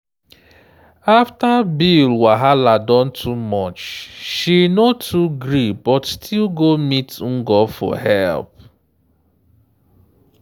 after bill wahala don too much she no too gree but still go meet ngo for help.